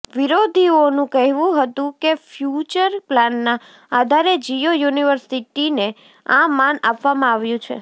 વિરોધીઓનું કહેવું હતું કે ફ્યુચર પ્લાનના આધારે જિયો યુનિવર્સિટીને આ માન આપવામાં આવ્યું છે